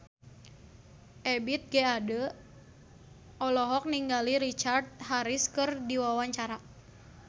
Ebith G. Ade olohok ningali Richard Harris keur diwawancara